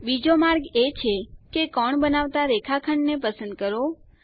બીજો માર્ગ એ છે કે કોણ બનાવતા રેખાખંડ ને પસંદ કરો